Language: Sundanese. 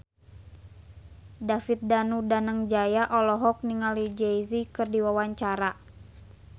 David Danu Danangjaya olohok ningali Jay Z keur diwawancara